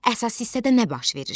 Əsas hissədə nə baş verir?